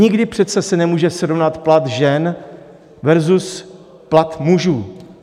Nikdy se přece nemůže srovnat plat žen versus plat mužů.